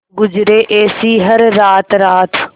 गुजरे ऐसी हर रात रात